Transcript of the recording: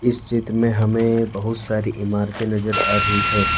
इस चित्र में हमें बहुत सारी इमारतें नजर आ रही है।